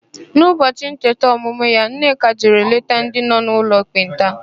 N'ụbọchị ncheta ọmụmụ ya, Nneka jere leta ndị nọ n'ụlọ ekpenta.